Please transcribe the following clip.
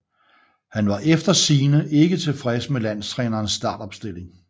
Han var efter sigende ikke tilfreds med landstrænerens startopstilling